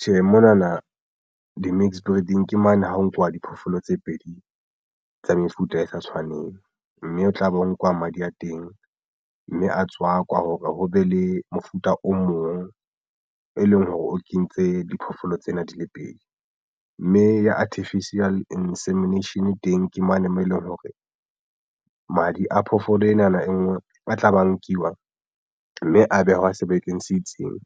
Tjhe, mona na di-mixed breeding ke mane ha ho nkuwa diphoofolo tse pedi tsa mefuta e sa tshwaneng mme o tla be ho nkwa madi a teng mme a tswa kwa hore ho be le mofuta o mong e leng hore o kentse diphoofolo tsena di le pedi mme ya artificial insemination teng ke mane moo eleng hore madi a phoofolo ena na e nngwe a tla ba nkiwa mme a behwa sebakeng se itseng